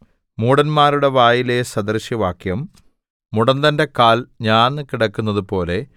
മൂഢന്മാരുടെ വായിലെ സദൃശവാക്യം മുടന്തന്റെ കാൽ ഞാന്നു കിടക്കുന്നതുപോലെ